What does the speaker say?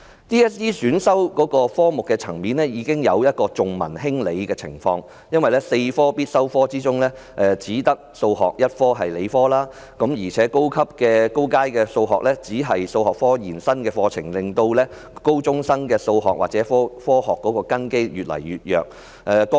其實，在 DSE 選修科目的層面已經有重文輕理的情況，因為4科必修科中只有數學是理科，而高階數學又是數學科延伸課程，令高中生的數學或科學的根基越來越弱。